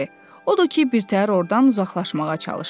Odur ki, birtəhər ordan uzaqlaşmağa çalışdı.